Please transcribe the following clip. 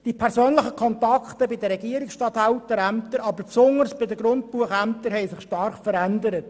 Die persönlichen Kontakte bei den Regierungsstatthalterämtern, aber besonders bei den Grundbuchämtern haben sich stark verändert.